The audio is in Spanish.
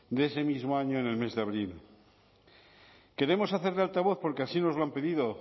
de ese mismo año en el mes de abril queremos hacer de altavoz porque así nos lo han pedido